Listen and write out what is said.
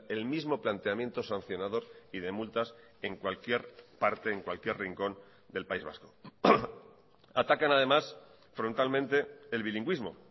el mismo planteamiento sancionador y de multas en cualquier parte en cualquier rincón del país vasco atacan además frontalmente el bilingüismo